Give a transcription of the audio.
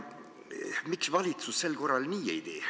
Miks valitsus sel korral nii ei tee?